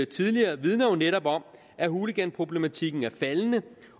tidligere vidner jo netop om at hooliganproblematikken er faldende